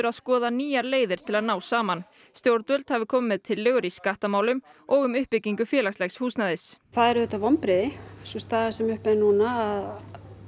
að skoða nýjar leiðir til að ná saman stjórnvöld hafi komið með tillögur í skattamálum og um uppbyggingu félagslegs húsnæðis það er auðvitað vonbrigði sú staða sem uppi er núna að